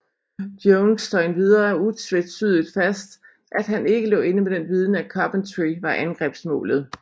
Jones slår endvidere utvetydigt fast at han ikke lå inde med den viden at Coventry var angrebsmålet